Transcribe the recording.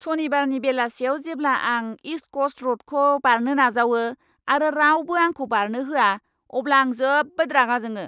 सनिबारनि बेलासियाव जेब्ला आं इस्ट क'स्ट र'डखौ बारनो नाजावो आरो रावबो आंखौ बारनो होआ, अब्ला आं जोबोद रागा जोङो!